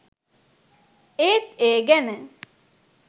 ඒත් ඒ ගැන